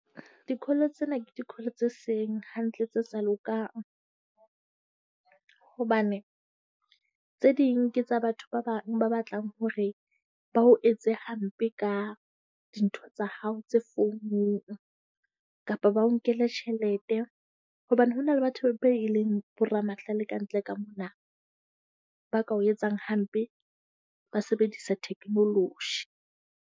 Di-call tsena ke di-call tse seng hantle, tse sa lokang. Hobane tse ding ke tsa batho ba bang ba batlang hore ba o etse hampe ka dintho tsa hao tse founung, kapa ba o nkele tjhelete hobane ho na le batho be e leng boramahlale kantle ka mona. Ba ka o etsang hampe ba sebedisa technology.